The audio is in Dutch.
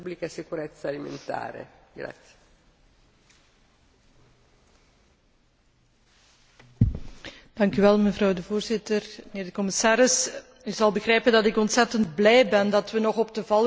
Voorzitter, commissaris, u zult begrijpen dat ik ontzettend blij ben dat we nog op de valreep kunnen stemmen over dit dossier, want niet alleen het Parlement, maar ook veel burgers hebben immers jarenlang aangedrongen op maatregelen